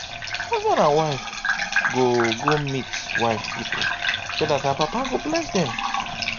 husband and wife go go meet wife pipo so dat her papa go bless dem